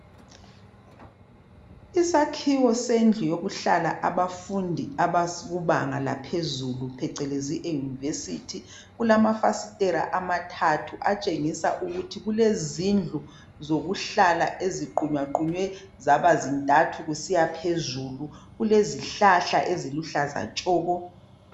Isakhiwo sendlu yokuhlala abafundi abakubanga laphezulu phecelezi eunivesithi. Kulamafasitela amathathu atshengisa ukuthi kulezindlu zokuhlala eziqunywa qunywe zaba zintathu kusiya phezulu. Kulezihlahla eziluhlaza tshoko.